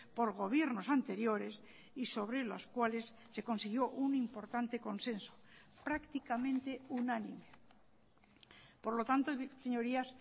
por gobiernos anteriores y sobre los cuales se consiguió un importante consenso prácticamente unánime por lo tanto señorías